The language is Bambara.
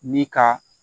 Ni ka